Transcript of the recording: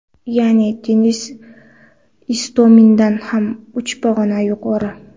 Ya’ni, Denis Istomindan ham uch pog‘ona yuqori .